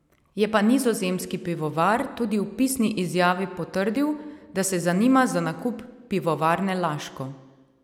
Je pa nizozemski pivovar tudi v pisni izjavi potrdil, da se zanima za nakup Pivovarne Laško.